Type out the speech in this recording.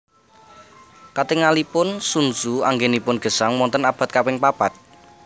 Katingalipun Sun Tzu anggènipun gesang wonten abad kaping papat